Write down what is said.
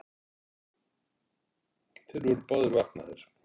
Þeir voru báðir vaknaðir.